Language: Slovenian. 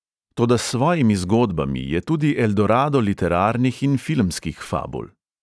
Toda s svojimi zgodbami je tudi eldorado literarnih in filmskih fabul.